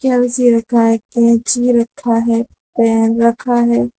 हर चीज रखा है कैंची रखा है पेन रखा है।